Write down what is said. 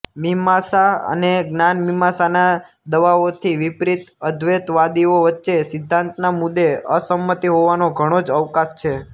મીમાંસા અને જ્ઞાનમીમાંસાના દાવાઓથી વિપરીત અદ્વૈતવાદીઓ વચ્ચે સિદ્ધાંતના મુદ્દે અસંમતિ હોવાને ઘણો જ અવકાશ છે